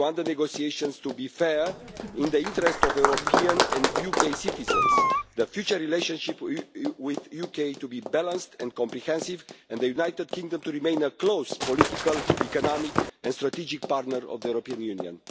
We want the negotiations to be fair and in the interests of European and UK citizens, the future relationship with the UK to be balanced and comprehensive, and for the United Kingdom to remain a close political, economic and strategic partner of the European Union.